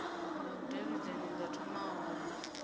na vhudavhidzani zwa thoma hone